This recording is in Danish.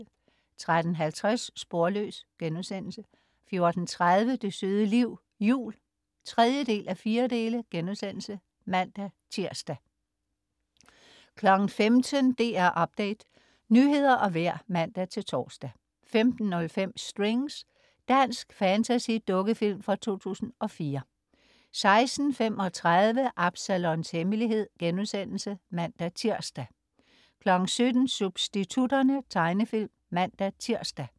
13.50 Sporløs* 14.30 Det søde liv. Jul 3:4* (man-tirs) 15.00 DR Update. Nyheder og vejr (man-tors) 15.05 Strings. Dansk fantasy-dukkefilm fra 2004 16.35 Absalons Hemmelighed* (man-tirs) 17.00 Substitutterne. Tegnefilm (man-tirs)